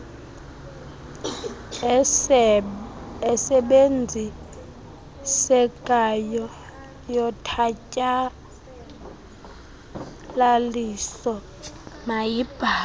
esebenzisekayo yotshatyalaliso mayibhalwe